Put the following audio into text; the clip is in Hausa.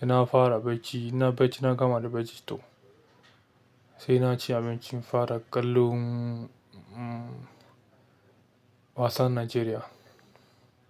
sai na fara bacci, ina bacci na gama da bacci toh sai na ci abinci in fara ƙwallon, wasan Najeriya.